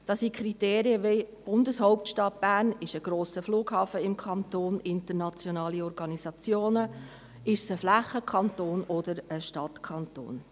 Das sind Kriterien wie Bundeshauptstadt Bern, ein grosser Flughafen im Kanton, internationale Organisationen, ein Flächenkanton oder ein Stadtkanton.